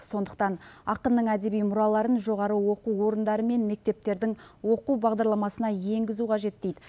сондықтан ақынның әдеби мұраларын жоғары оқу орындары мен мектептердің оқу бағдарламасына енгізу қажет дейді